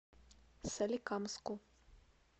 соликамску